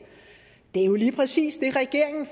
det er jo lige præcis det regeringen